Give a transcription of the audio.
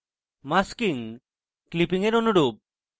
masking clipping এর অনুরূপ